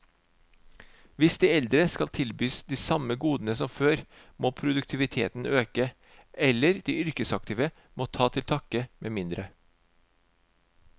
Hvis de eldre skal tilbys de samme godene som før, må produktiviteten øke, eller de yrkesaktive må ta til takke med mindre.